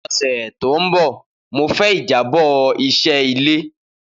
Ni ọsẹ to nbọ Mo fẹ ijabọ iṣẹ ile